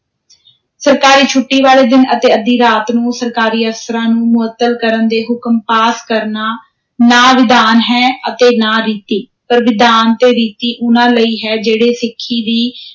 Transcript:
ਸਰਕਾਰੀ ਛੁੱਟੀ ਵਾਲੇ ਦਿਨ ਅਤੇ ਅੱਧੀ ਰਾਤ ਨੂੰ ਸਰਕਾਰੀ ਅਫ਼ਸਰਾਂ ਨੂੰ ਮੁਅੱਤਲ ਕਰਨ ਦੇ ਹੁਕਮ ਪਾਸ ਕਰਨਾ ਨਾ ਵਿਧਾਨ ਹੈ ਅਤੇ ਨਾ ਰੀਤੀ, ਪਰ ਵਿਧਾਨ ਤੇ ਰੀਤੀ ਉਨ੍ਹਾਂ ਲਈ ਹੈ, ਜਿਹੜੇ ਸਿੱਖੀ ਦੀ